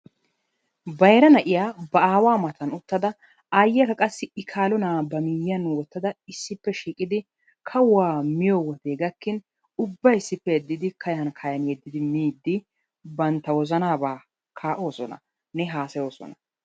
bayra na'iyaa ba awaa matan uttada ayyiyaakka qassi i kaalo na'aa ba miiyiyaan wootada issippe shiiqqidi kawuwaa miyoo wodee gakkin ubbay issippe yeddidi kayan kayan yeeddidi miidi bantta wozanaaba kaa'oosonanne haasayoosona.